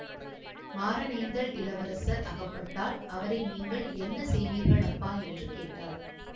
மாறனேந்தல் இளவரசர் அகப்பட்டால் அவரை நீங்கள் என்ன செய்வீர்கள் அப்பா என்று கேட்டாள்